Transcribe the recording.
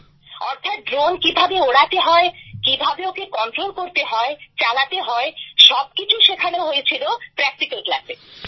অর্থাৎ ড্রোন কিভাবে উড়াতে হয় কিভাবে ওকে কন্ট্রোল করতে হয় চালাতে হয় সবকিছু শেখানো হয়েছিল প্র্যাক্টিক্যাল ক্লাসে